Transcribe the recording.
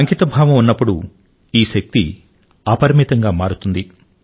అంకితభావం ఉన్నప్పుడు ఈ శక్తి అపరిమితంగా మారుతుంది